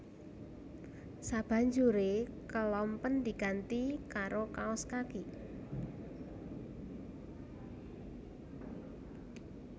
Sabanjuré kelompen diganti karo kaos kaki